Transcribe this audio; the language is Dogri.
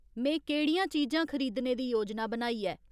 में केह्ड़ियां चीजां खरीदने दी योजना बनाई ऐ